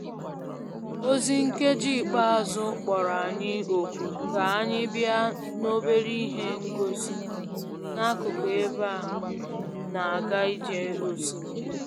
Ozi nkeji ikpeazụ kpọrọ anyị òkù ka anyị bịa n'obere ihe ngosi n'akụkụ ebe a na-aga ije osimiri